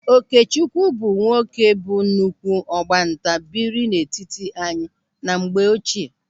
Okechukwu bụ nwoke bụ nnukwu ọgbanta biri n'etiti anyị na mgbe ochie.